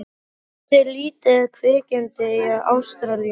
Það er til lítið kvikindi í Ástralíu.